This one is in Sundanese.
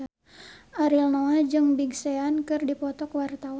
Ariel Noah jeung Big Sean keur dipoto ku wartawan